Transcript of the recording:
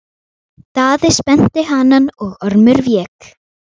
Daði spennti hanann og Ormur vék.